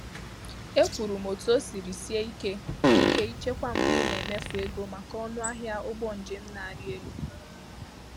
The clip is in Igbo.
Ekwuru m otu o siri sie ike ike ịchekwa mgbe ị na-emefu ego maka ọnụ ahịa ụgbọ njem na-arị elu.